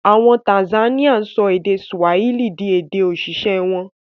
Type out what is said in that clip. Àwọn Tanzanian sọ èdè Swahili di èdè-òṣìṣẹ́ wọn.